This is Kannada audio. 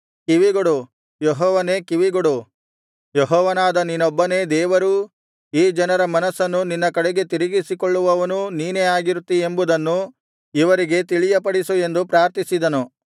ಕಿವಿಗೊಡು ಯೆಹೋವನೇ ಕಿವಿಗೊಡು ಯೆಹೋವನಾದ ನೀನೊಬ್ಬನೇ ದೇವರೂ ಈ ಜನರ ಮನಸ್ಸನ್ನು ನಿನ್ನ ಕಡೆಗೆ ತಿರುಗಿಸಿಕೊಳ್ಳುವವನೂ ನೀನೇ ಆಗಿರುತ್ತೀ ಎಂಬುದನ್ನು ಇವರಿಗೆ ತಿಳಿಯಪಡಿಸು ಎಂದು ಪ್ರಾರ್ಥಿಸಿದನು